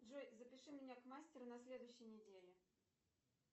джой запиши меня к мастеру на следующей неделе